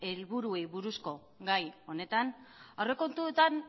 helburuei buruzko gai honetan aurrekontuetan